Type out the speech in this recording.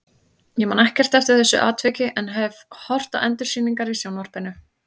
Ég man ekkert eftir þessu atviki en hef horft á endursýningar í sjónvarpinu.